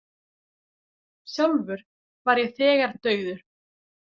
Sjálfur var ég þegar dauður.